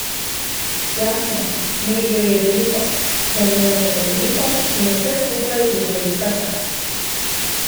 Jasno, medijev je veliko, zanimanje je veliko in vse skupaj je velika čast.